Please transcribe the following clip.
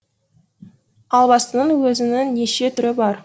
албастының өзінің неше түрі бар